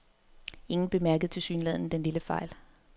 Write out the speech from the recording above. Ingen bemærkede tilsyneladende den lille fejl.